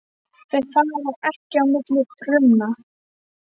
Þau fara ekki á milli frumna.